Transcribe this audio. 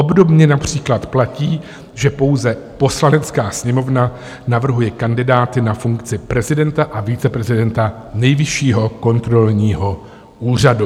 Obdobně například platí, že pouze Poslanecká sněmovna navrhuje kandidáty na funkci prezidenta a viceprezidenta Nejvyššího kontrolního úřadu.